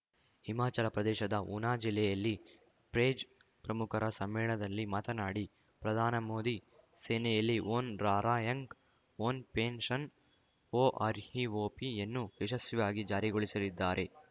ಹಿಮಾಚಲ ಪ್ರದೇಶದ ಉನಾ ಜಿಲ್ಲೆಯಲ್ಲಿ ಪೇಜ್‌ ಪ್ರಮುಖರ ಸಮ್ಮೇಳನದಲ್ಲಿ ಮಾತನಾಡಿ ಪ್ರಧಾನ ಮೋದಿ ಸೇನೆಯಲ್ಲಿ ಒನ್‌ ರಾರ‍ಯಂಕ್‌ ಒನ್‌ ಪೆನ್‌ಷನ್‌ ಒಆರ್‌ಹಿಓಪಿಯನ್ನು ಯಶಸ್ವಿಯಾಗಿ ಜಾರಿಗೊಳಿಸಲಿದ್ದಾರೆ